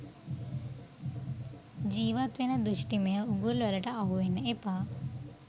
ජීවත්වෙන දෘෂ්ටිමය උගුල්වලට අහුවෙන්න එපා.